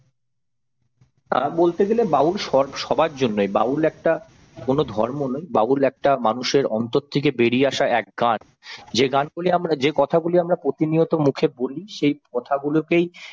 হ্যাঁ বলতে গেলে বাউল সব সবার জন্যই বাউল একটা কোন ধর্ম নয় বাউল একটা মানুষের অন্তর থেকে বেরিয়ে আসা এক গান যে গানগুলি আমরা যে কথাগুলি আমরা প্রতিনিয়ত মুখে বলি সেই কথাগুলোকেই